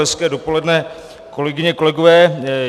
Hezké dopoledne, kolegyně, kolegové.